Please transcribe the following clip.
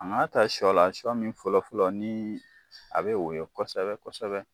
An ka ta sɔ la sɔ min fɔlɔ fɔlɔ ni a bɛ woyo kosɛbɛ kosɛbɛ.